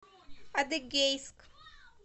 адыгейск